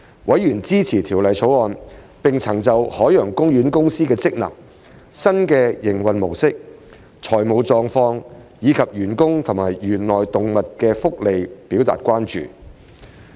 委員支持《條例草案》，並曾就海洋公園公司的職能、新營運模式、財務狀況，以及員工和園內動物的福利表達關注。